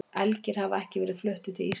Elgir hafa ekki verið fluttir til Íslands.